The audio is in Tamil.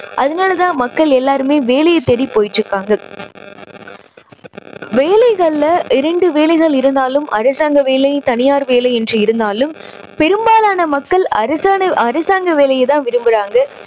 அதனால் தான் மக்கள் எல்லாருமே வேலையை தேடி போயிட்டு இருக்காங்க. வேலைகளில இரண்டு வேலைகள் இருந்தாலும் அரசாங்க வேலை, தனியார் வேலை என்று இருந்தாலும் பெரும்பாலான மக்கள் அரசான`அரசாங்க வேலையை தான் விரும்புறாங்க.